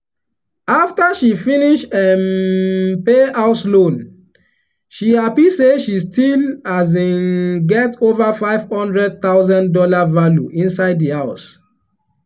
after she finish um pay house loan she happy say she still um get over five hundred thousand dollar value inside the house.